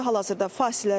Hal-hazırda fasilədir.